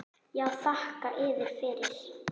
Já, þakka yður fyrir.